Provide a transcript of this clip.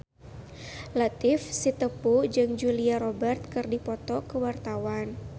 Latief Sitepu jeung Julia Robert keur dipoto ku wartawan